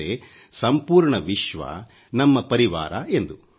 ಅಂದರೆ ಸಂಪೂರ್ಣ ವಿಶ್ವ ನಮಮ ಪರಿವಾರ ಎಂದು